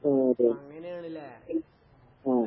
ആഹ് അതെ. ആഹ്